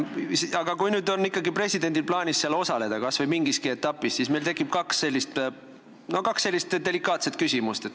Aga kui presidendil on ikkagi plaanis seal osaleda, kas või mingilgi etapil, siis meil tekib kaks delikaatset küsimust.